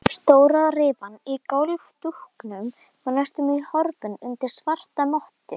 Stóra rifan í gólfdúknum var næstum horfin undir svarta mottu.